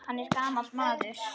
Hann er gamall maður.